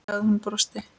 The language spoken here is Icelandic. sagði hún og brosti.